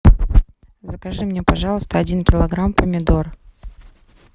закажи мне пожалуйста один килограмм помидор